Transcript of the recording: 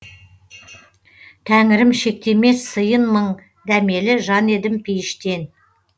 тәңірім шектемес сыйын мың дәмелі жан едім пейіштен